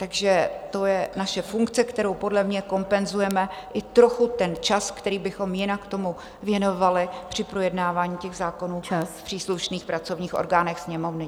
Takže to je naše funkce, kterou podle mě kompenzujeme i trochu ten čas, který bychom jinak tomu věnovali při projednávání těch zákonů v příslušných pracovních orgánech Sněmovny.